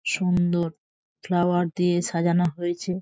সুন্দর ফ্লাওয়ার দিয়ে সাজানো হয়েছে।